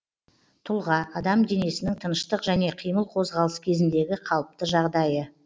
тұлға адам денесінің тыныштық және қимыл қозғалыс кезіндегі қалыпты жағдайы